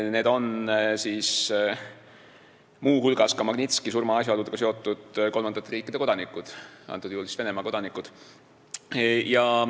Need on muu hulgas Magnitski surma asjaoludega seotud kolmandate riikide kodanikud, konkreetsel juhul siis Venemaa kodanikud.